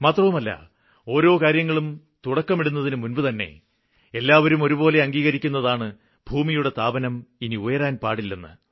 മാത്രമല്ല ഓരോ കാര്യങ്ങളും തുടക്കമിടുന്നതിന് മുമ്പുതന്നെ എല്ലാവരും ഒരുപോലെ അംഗീകരിക്കുന്നതാണ് ഭൂമിയുടെ താപനം ഇനി ഉയരാന് പാടില്ലെന്ന്